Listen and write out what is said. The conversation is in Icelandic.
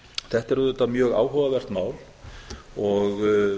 þetta er auðvitað mjög áhugavert mál og